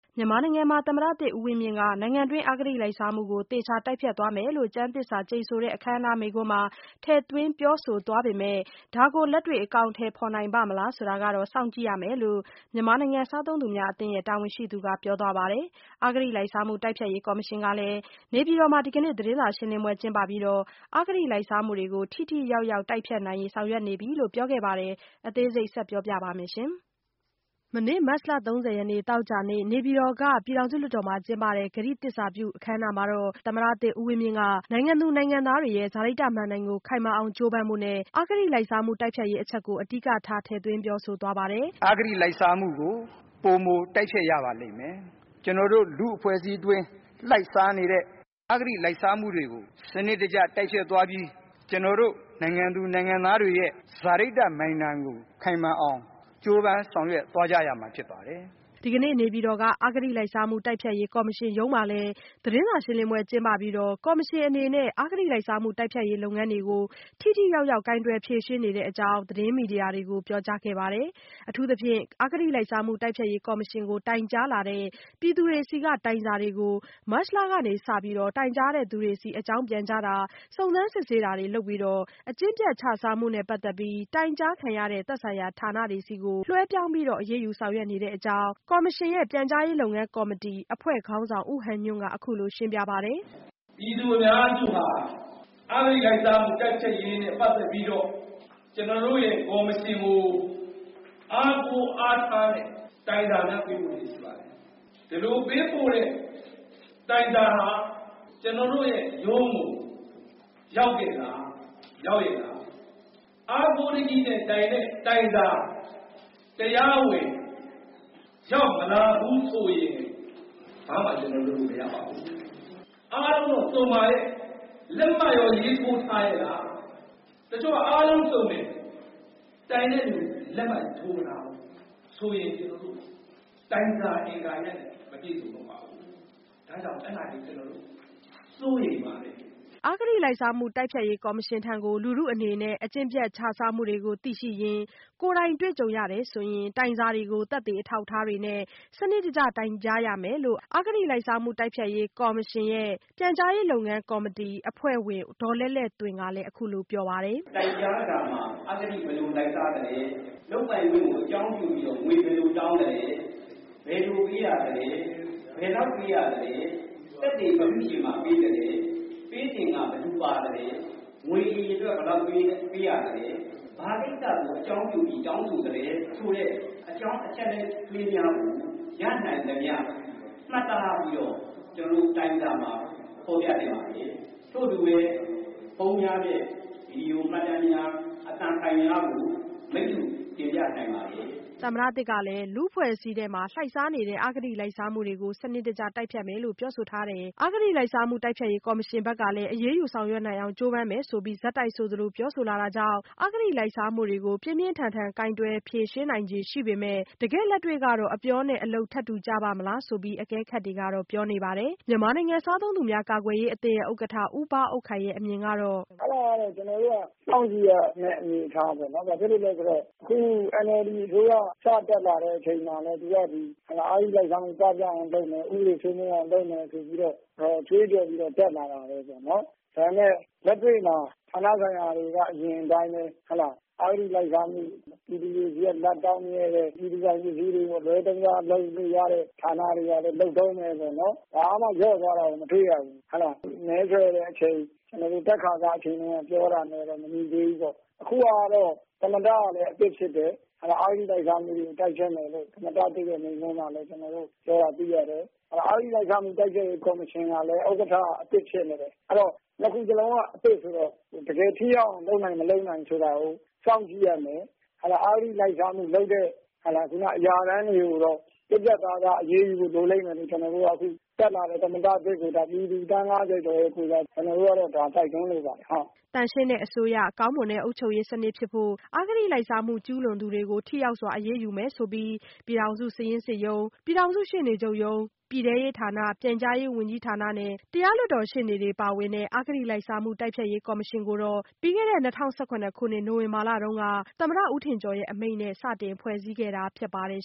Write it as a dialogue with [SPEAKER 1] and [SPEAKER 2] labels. [SPEAKER 1] မြန်မာနိုင်ငံမှာ သမ္မတသစ် ဦးဝင်းမြင့်က နိုင်ငံတွင်း အဂတိလိုက်စားမှုကို သေချာတိုက်ဖျက်သွားမယ်လို့ ကျမ်းသစ္စာကျိန်ဆိုတဲ့ အခမ်းအနား မိန့်ခွန်းမှာ ထည့်သွင်းပြောဆို သွားပေမယ့် ဒါကိုလက်တွေ့ အကောင်အထည်ဖော်နိုင် ပါ့မလားဆိုတာတော့ စောင့်ကြည့်ရမယ်လို့ မြန်မာနိုင်ငံ စားသုံးသူများအသင်း တာဝန်ရှိသူက ပြောသွားပါတယ်။ အဂတိလိုက်စားမှု တိုက်ဖျက်ရေး ကော်မရှင်ကလည်း နေပြည်တော်မှာ ဒီကနေ့ သတင်းစာရှင်းလင်းပွဲ ကျင်းပပြီး အဂတိလိုက်စားမှုတွေကို ထိထိရောက်ရောက် တိုက်ဖျက်နိုင်ရေး ဆောင်ရွက်နေပြီလို့ ပြောဆိုခဲ့တာပါ။ အသေးစိတ်ကို မဆုမွန် ဆက်ပြီးတင်ပြပေးပါမယ်။ မနေ့မတ်လ ၃၀ရက်နေ့ သောကြာနေ့ နေပြည်တော်က ပြည်ထောင်စုလွှတ်တော်မှာ ကျင်းပတဲ့ ကတိသစ္စာပြုပွဲ အခမ်းအနားမှာတော့ သမ္မတသစ် ဦးဝင်းမြင့်က နိုင်ငံသူနိုင်ငံသားတွေရဲ့ စာရိတ္တမဏ္ဍိုင်ကို ခိုင်မာအောင် ကြိုးပမ်းဖို့နဲ့ အဂတိလိုက်စားမှု တိုက်ဖျက်ရေးအချက်ကို အဓိကထား ထည့်သွင်းပြောဆို ထားပါတယ်။
[SPEAKER 2] “ အဂတိလိုက်စားမှုကို ပိုမို တိုက်ဖျက်ရပါလိမ့်မယ်။ ကျွန်တော်တို့ လူ့အဖွဲ့အစည်းအတွင်း လှိုက်စားနေတဲ့ အဂတိလိုက်စားမှုတွေကို စနစ်တကျ တိုက်ဖျက်သွားပြီး ကျွန်တော်တို့နိုင်ငံသူနိုင်ငံသားတွေရဲ့ စာရိတ္တမဏ္ဍိုင်ကို ခိုင်မာအောင် ကြိုးပမ်းဆောင်ရွက်သွားကြရမှာ ဖြစ်ပါတယ်။”
[SPEAKER 1] ဒီကနေ့နေပြည်တော်က အဂတိလိုက်စားမှုတိုက်ဖျက်ရေးကော်မရှင်ရုံးမှာလည်း သတင်းစာရှင်းလင်းပွဲ ကျင်းပပြီးတော့ ကော်မရှင်အနေနဲ့ အဂတိလိုက်စားမှု တိုက်ဖျက်ရေး လုပ်ငန်းတွေကို ထိထိရောက်ရောက် ကိုင်တွယ်ဖြေရှင်း နေတဲ့အကြောင်း သတင်းမီဒီယာတွေကို ပြောကြားခဲ့ပါတယ်။ အထူးသဖြင့် အဂတိလိုက်စားမှု တိုက်ဖျက်ရေးကော်မရှင်ကို တိုင်ကြားလာတဲ့ ပြည်သူတွေဆီက တိုင်စာတွေကို မတ်လကစပြီး တိုင်ကြားသူတွေဆီ အကြောင်းပြန်ကြားတာ စုံစမ်းစစ်ဆေးတာ လုပ်ပြီးတော့ အကျင့်ပျက်ခြစားမှုနဲ့ ပတ်သက်ပြီး တိုင်ကြားခံရတဲ့ သက်ဆိုင်ရာ ဌာနတွေဆီကို လွှဲပြောင်းပြီးတော့ အရေးယူဆောင်ရွက် နေတဲ့အကြောင်း အဂတိလိုက်စားမှု တိုက်ဖျက်ရေး ကော်မရှင်ရဲ့ ပြန်ကြားရေး လုပ်ငန်းကော်မတီ အဖွဲ့ခေါင်းဆောင် ဦးဟန်ညွန့်က အခုလိုရှင်းပြပါတယ်။ “ ပြည်သူအများစုဟာ
[SPEAKER 2] အဂတိလိုက်စားမှု တိုက်ဖျက်ရေးနဲ့ပတ်သက်ပြီးတော့ ကျနော်တို့ရဲ့ ကော်မရှင်ကို အားကိုးအားထားတဲ့ တိုင်စာများ ပေးပို့လျက် ရှိပါတယ်။ ဒီလိုပေးပို့တဲ့ တိုင်စာဟာ ကျနော်တို့ရဲ့ရုံးကို ရောက်ရဲ့လား ရောက်လား။၊ အားကိုးတကြီးနဲ့တိုင်တဲ့ တိုင်စာ တရားဝင် ရောက်မလာဘူး ဆိုရင် ဘာမှကျနော်တို့ လုပ်လို့မရပါဘူး။ အားလုံးတော့ စုံပါရဲ့.. လက်မှတ်ရော ရေးထိုးထားရဲ့လား၊ တချို့က အားလုံးတော့ စုံတယ်၊ ဒါပေမဲ့ တိုင်တဲ့သူရဲ့လက်မှတ် ထိုးမထားဘူးဆိုရင် တိုင်စာက အင်္ဂါရပ်နဲ့ မပြည့်စုံတော့ပါဘူး။ ဒါ့ကြောင့် အဲဒါတွေကို ကျနော်တို့ စိုးရိမ်ပါတယ်။”
[SPEAKER 1] အဂတိ လိုက်စားမှုတိုက်ဖျက်ရေး ကော်မရှင်ထံကို လူထုကို အကျင့်ပျက် ခြစားမှုတွေကိုသိရှိရင် ကိုယ်တိုင် တွေ့ကြုံရရင် တိုင်စာတွေကို သက်သေ အထောက်အထားတွေနဲ့ စနစ်တကျ တိုင်ကြားရမယ်လို့အဂတိလိုက်စားမှု တိုက်ဖျက်ရေးကော်မရှင်ရဲ့ ပြန်ကြားရေးအဖွဲ့ဝင် ဦးခင်မောင်မြင့်ကလည်း ပြောပါတယ်။ “ တိုင်က
[SPEAKER 2] ြားစာထဲမှာ အဂတိ ဘယ်လို လိုက်စားသလဲ၊ လုပ်ပိုင်ခွင့်ကို အကြောင်းပြုပြီးတော့ ငွေ ဘယ်လိုတောင်းသလဲ၊ ဘယ်လို ပေးရသလဲ ၊ ဘယ်လောက် ပေးရသလဲ၊ သက်သေ ဘယ်သူ့ဆီမှာ ပေးရသလဲ၊ ပေးစဉ်က ဘယ်သူ ပါသလဲ၊ ငွေအရေအတွက်က ဘယ်လောက်ပေးရသလဲ၊ ဘာကိစ္စကို အကြောင်းပြုပြီး တောင်းဆိုသလဲ…ဆိုတဲ့ အကြောင်းအချက်အလက်တွေကို ရနိုင်သမျှ မှတ်သားပြီးတော့ တိုင်စာထဲမှာ ဖေါ်ပြ နိုင်ပါတယ်။ ထို့အတူပဲ ဖုန်းများနဲ့ ဗွီဒီယိုမှတ်တမ်းများ အသံဖိုင်များကို မိတ္တူတင်ပြန
[SPEAKER 1] ိုင်ပါတယ်။” သမ္မတသစ်ကလည်း လူ့အဖွဲ့အစည်းအတွင်း လှိုက်စားနေတဲ့ အဂတိလိုက်စားမှုကို စနစ်တကျ တိုက်ဖျက်မယ်လို့ ပြောဆိုထားတယ်။ ကော်မရှင်ဘက်ကလည်း အရေးယူဆောင်ရွက်နိုင်အောင် ကြိုးပမ်းမယ်ဆိုပြီး ဆက်တိုက်ဆိုသလို ပြောဆိုလာတာကြောင့် အဂတိ လိုက်စားမှုကို ပြင်းပြင်းထန်ထန် ကိုင်တွယ်နိုင်ခြေရှိပေမဲ့ တကယ့်လက်တွေ့ကတော့ အပြောနဲ့ ထပ်တူကျပါ့မလား ဆိုပြီးတော့ အကဲခတ်တွေ ဘက်က ပြောနေပါတယ်။ မြန်မာနိုင်ငံစားသုံးသူများ ကာကွယ်ရေးအသင်း ဥက္ကဋ္ဌ ဦးဘအုပ်ခိုင်ရဲ့အမြင်ကတော့-
[SPEAKER 3] “ အဲဒါကတော့ ကျနော်တို့က စောင့်ကြည့်ရမယ့် အနေအထားပေါ့နော်။ ဘာဖြစ်လို့လည်းဆိုတော့ ခု NLDအစိုးရ စတက်လာတဲ့ အချိန်မှာ သူက ဒီ အဂတိလိုက်စားမှု ပပျောက်အောင်လုပ်မယ်၊ ဥပဒေစိုးမိုးအောင် လုပ်မယ် ဆိုပြီးတော့ ကြွေးကြော်ပြီး တက်လာတာလေ။ ဒါပေမယ့် လက်တွေ့မှာ ဌာနဆိုင်ရာတွေက အရင်အတိုင်းပဲ… အဂတိလိုက်စားမှု- ပြည်သူတွေဆီက လဘ်တောင်းမြဲပဲ၊ ပြည်သူပိုင် ပစ္စည်းတွေ အလွဲသုံးစား လုပ်လို့ရတဲ့ ဌာနတွေကလည်း လုပ်တုန်းပဲ၊ ဘာမှ လျော့သွားတာကို မတွေ့ရဘူး။ မဲဆွယ်တဲ့အချိန် တက်ခါစအချိန်တုန်းက ပြောခဲ့တာနဲ့လည်း မညီသေးဘူးပေါ့။ အခုဟာကတော့ သမ္မတကလည်း အသစ်ဖြစ်တယ်။ အဂတိလိုက်စားမှုကို တိုက်ဖျက်မယ်လို့ သမ္မတသစ်ရဲ့ မိန့်ခွန်းထဲမှာလဲ ပြောတာတွေ့ရတယ်။ အဂတိလိုက်စားမှု တိုက်ဖျက်ရေး ကော်မရှင်ကလည်း ဥက္ကဋ္ဌက အသစ်ဖြစ်နေတယ်။ အဲဒီတော့ နှစ်ခုစလုံးက အသစ်ဆိုတော့ တကယ်ထိရောက်အောင် လုပ်နိုင်/မလုပ်နိုင် ဆိုတာကို စောင့်ကြည့်ရမယ်။ အဂတိလိုက်စားမှုလုပ်တဲ့ အရာထမ်းတွေကိုတော့ ပြတ်ပြတ်သားသား အရေးယူဖို့ လိုလိမ့်မယ်လို့ အခုတက်လာတဲ့ သမ္မတသစ်ကို ပြည်သူ သန်း ၅၀ကျော်ရဲ့ကိုယ်စား ကျနော်တို့က တိုက်တွန်းလိုပါတယ်။
[SPEAKER 1] ” သန့်ရှင်းတဲ့အစိုးရ၊ ကောင်းမွန်တဲ့ အုပ်ချုပ်ရေးစနစ်ဖြစ်ဖို့ အဂတိလိုက်စားမှု ကျူးလွန်သူတွေကို ထိရောက်စွာ အရေးယူနိုင်ဖို့ဆိုပြီး ပြည်ထောင်စု စာရင်းစစ်ရုံး၊ ပြည်ထောင်စု ရှေ့နေချုပ်ရုံး၊ ပြည်ထဲရေး ဝန်ကြီးဌာန၊ ပြန်ကြားရေးဝန်ကြီးနဲ့ ရှေ့နေတွေ ပါဝင်တဲ့ အဂတိလိုက်စားမှု တိုက်ဖျက်ရေးကော်မရှင်ကို ၂၀၁၇ခုနှစ် နိုဝင်ဘာလက သမ္မတဦးထင်ကျော် အမိန့်နဲ့ စတင်ဖွဲ့စည်းခဲ့တာ ဖြစ်ပါတယ်